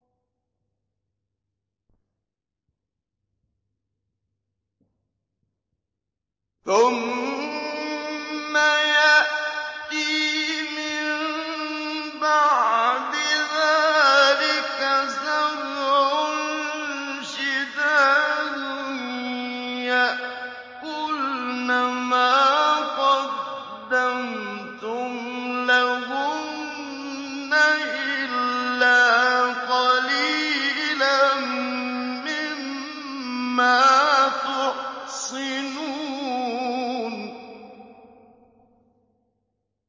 ثُمَّ يَأْتِي مِن بَعْدِ ذَٰلِكَ سَبْعٌ شِدَادٌ يَأْكُلْنَ مَا قَدَّمْتُمْ لَهُنَّ إِلَّا قَلِيلًا مِّمَّا تُحْصِنُونَ